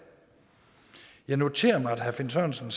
jeg noterede mig at herre finn sørensen